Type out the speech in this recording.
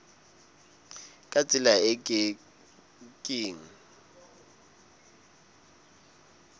ka tsela e ke keng